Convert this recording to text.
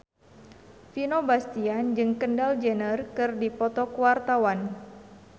Vino Bastian jeung Kendall Jenner keur dipoto ku wartawan